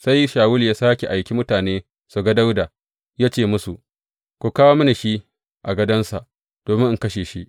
Sai Shawulu ya sāke aiki mutanen su ga Dawuda, ya ce musu, Ku kawo shi a gādonsa domin in kashe shi.